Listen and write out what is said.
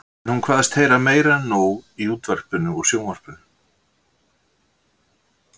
En hún kveðst heyra meira en nóg í útvarpinu og sjónvarpinu.